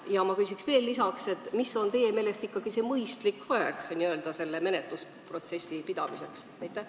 Ja ma küsin veel lisaks: kui pikk on teie meelest ikkagi see mõistlik aeg kohtuprotsessi pidamiseks?